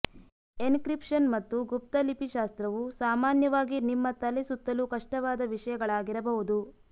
encryption ಮತ್ತು ಗುಪ್ತ ಲಿಪಿ ಶಾಸ್ತ್ರವು ಸಾಮಾನ್ಯವಾಗಿ ನಿಮ್ಮ ತಲೆ ಸುತ್ತಲು ಕಷ್ಟವಾದ ವಿಷಯಗಳಾಗಿರಬಹುದು